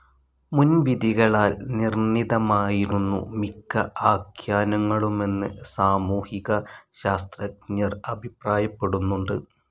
മുൻവിധികളാൽ നിർണിതമായിരുന്നു മിക്ക ആഖ്യാനങ്ങളുമെന്ന് സാമൂഹിക ശാസ്ത്രജ്ഞർ അഭിപ്രായപ്പെടുന്നുണ്ട്.